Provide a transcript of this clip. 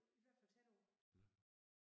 I hvert fald tæt på